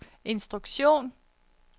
instruktion